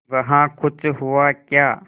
वहाँ कुछ हुआ क्या